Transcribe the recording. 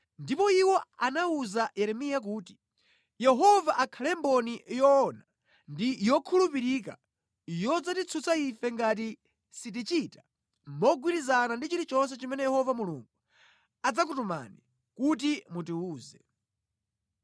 Ndipo iwo anawuza Yeremiya kuti, “Yehova akhale mboni yoona ndi yokhulupirika yodzatitsutsa ife ngati sitichita mogwirizana ndi chilichonse chimene Yehova Mulungu adzakutumani kuti mutiwuze.